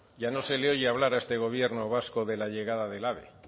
ya no se le oye hablar a este gobierno vasco de la llegada del ave